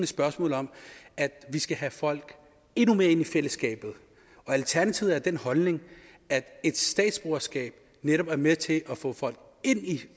spørgsmål om at vi skal have folk endnu mere ind i fællesskabet og alternativet er af den holdning at et statsborgerskab netop er med til at få folk ind i